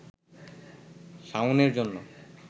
শাওনের জন্য